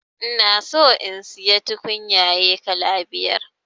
Ina son in siya tukunyaye kala biyar